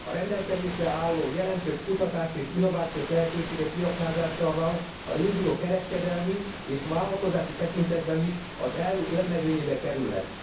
A rendelkezésre álló jelentős kutatás és innovációs lehetőségek kiaknázásával a régió kereskedelmi és vállalkozási tekintetben is az EU élmezőnyébe kerülhet.